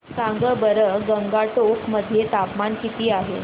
सांगा बरं गंगटोक मध्ये तापमान किती आहे